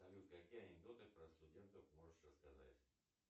салют какие анекдоты про студентов можешь рассказать